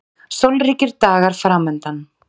Sólríkir dagar framundan